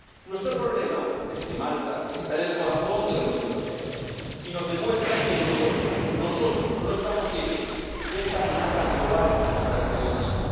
Nuestro problema es que Malta está en el corazón de la Unión Europea y nos demuestra que nosotros, nosotros, no estamos libres de esta amenaza global contra el periodismo.